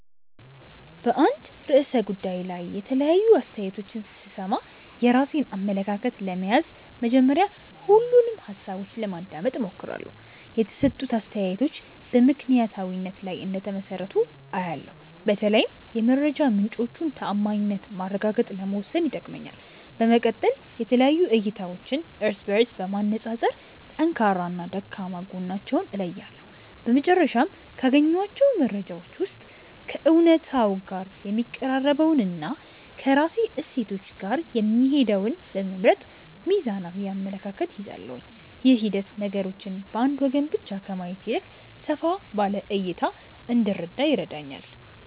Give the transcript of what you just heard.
በአንድ ርዕሰ ጉዳይ ላይ የተለያዩ አስተያየቶችን ስሰማ፣ የራሴን አመለካከት ለመያዝ መጀመሪያ ሁሉንም ሃሳቦች ለማዳመጥ እሞክራለሁ። የተሰጡት አስተያየቶች በምክንያታዊነት ላይ እንደተመሰረቱ አያለው፤ በተለይም የመረጃ ምንጮቹን ተዓማኒነት ማረጋገጥ ለመወሰን ይጠቅመኛል። በመቀጠል የተለያዩ እይታዎችን እርስ በእርስ በማነፃፀር ጠንካራና ደካማ ጎናቸውን እለያለሁ። በመጨረሻም፣ ካገኘኋቸው መረጃዎች ውስጥ ከእውነታው ጋር የሚቀራረበውንና ከራሴ እሴቶች ጋር የሚሄደውን በመምረጥ ሚዛናዊ አመለካከት እይዛለሁ። ይህ ሂደት ነገሮችን በአንድ ወገን ብቻ ከማየት ይልቅ ሰፋ ባለ እይታ እንድረዳ ይረዳኛል።